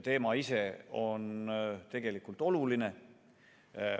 Teema ise on tegelikult oluline.